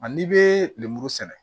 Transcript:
Ani bɛ lemuru sɛnɛ